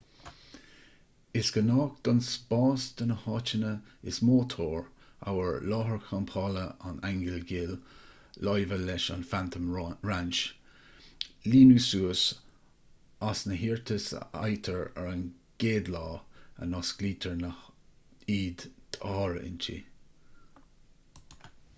is gnách don spás do na háiteanna is mó tóir amhail láthair champála an aingil ghil láimhe leis an phantom ranch líonadh suas as na hiarratais a fhaightear ar an gcéad lá a n-osclaítear iad d'áirithintí